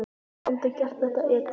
Hann hefði aldrei gert þetta edrú.